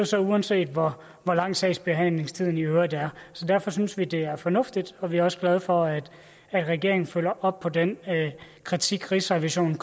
så uanset hvor hvor lang sagsbehandlingstiden i øvrigt er så derfor synes vi det er fornuftigt og vi er også glade for at regeringen følger op på den kritik rigsrevisionen